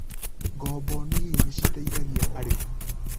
Ngombo nini niciteithagia arĩmi.